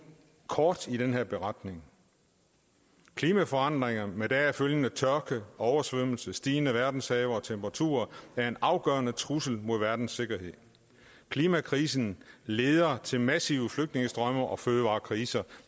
kort i den her beretning klimforandringerne med deraf følgende tørke og oversvømmelser samt stigende verdenshave og temperaturer er en afgørende trussel mod verdens sikkerhed klimakrisen leder til massive flygtningestrømme og fødevarekriser